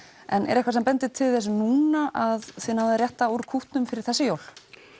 en er eitthvað sem bendir til þess núna að þið náið að rétta úr kútnum fyrir þessi jól